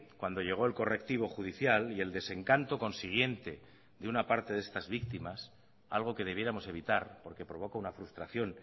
cuando llegó el correctivo judicial y el desencanto consiguiente de una parte de estas víctimas algo que debiéramos evitar porque provoca una frustración